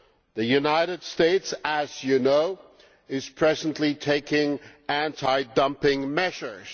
The United States, as you know, is presently taking anti dumping measures.